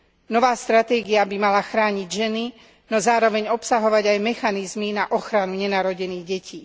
Nová stratégia by mala chrániť ženy, no zároveň obsahovať aj mechanizmy na ochranu nenarodených detí.